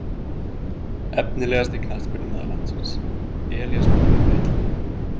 Efnilegasti knattspyrnumaður landsins: Elías Már hefur heillað mig.